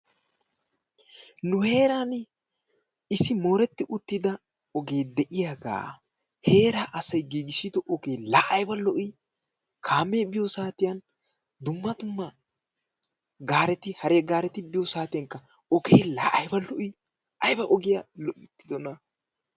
Nu heeran issi mooretti uttida ogee de"iyagaa heeraa asayi giigissidoogee la ayba lo"ii kaamee biyo saatiyan dumma dumma gaareti hare gaareti biyo saatiyankka ogee la ayba lo"ii ayba ogiya loyttidonaa.